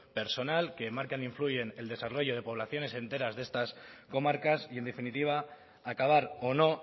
personal que marcan e influyen el desarrollo de poblaciones enteras de estas comarcas y en definitiva acabar o no